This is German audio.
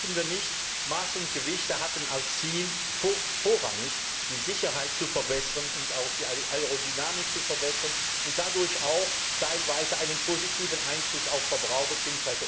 Vergessen wir nicht Maße und Gewichte hatten als Ziel, vorrangig die Sicherheit zu verbessern und auch die Aerodynamik zu verbessern und dadurch auch teilweise einen positiven Einfluss auf Verbraucher bzw.